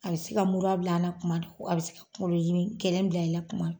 A bɛ se ka mura bila an na kuma dɔ a bɛ se ka kungolo gɛlɛn bila i la kuma